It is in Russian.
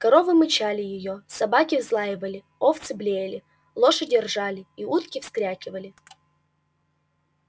коровы мычали её собаки взлаивали овцы блеяли лошади ржали и утки вскрякивали